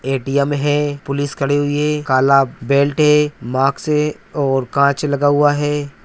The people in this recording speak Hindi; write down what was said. ए.टी.एम है पुलिस खड़ी हुई है काला बेल्ट है मास्क है और कांच लगा हुआ है।